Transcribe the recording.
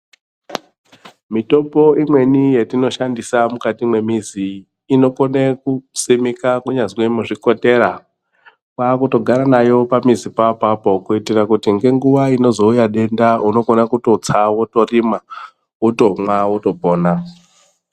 Mitombo imweni yatinoshandisa mukati mwemizi, inokone kusimika kunyazve muzvikotera. Kwakutogara nayo pamizi papapo kuyitira kuti ngenguwa inozowuya denda unokona kutotsa wotorima, wotomwa, wotopona.